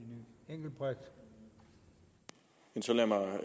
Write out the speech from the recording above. er så